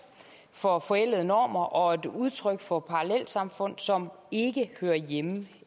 for forældede normer og et udtryk for parallelsamfund som ikke hører hjemme